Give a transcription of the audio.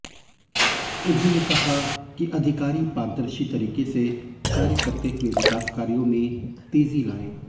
उन्होंने कहा कि अधिकारी पारदर्शी तरीकें से कार्य करते हुए विकास कार्यों में तेजी लाएं